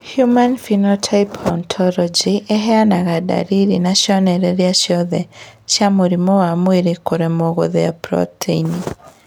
Human Phenotype Ontology ĩheanaga ndariri na cionereria ciothe cia mũrimũ wa mwĩrĩ kũremwo gũthĩa proteini